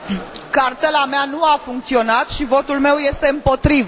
Cartela mea nu a funcționat și votul meu este împotrivă.